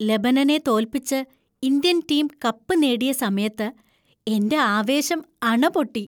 ലെബനനെ തോൽപ്പിച്ച് Indian team cup നേടിയ സമയത്ത് എന്‍റെ ആവേശം അണപൊട്ടി.